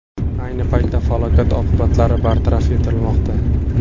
Ayni paytda falokat oqibatlari bartaraf etilmoqda.